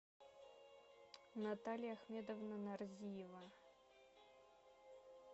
наталья ахмедовна нарзиева